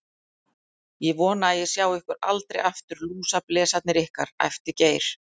Ég vona að ég sjái ykkur aldrei aftur, lúsablesarnir ykkar, æpti Geir.